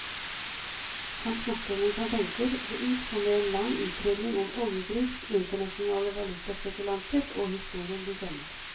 Han snakker mens han tenker, og ut kommer en lang utredning om oljepris, internasjonale valutaspekulanter og historien vi kjenner.